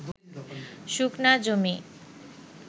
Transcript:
শুকনা জমি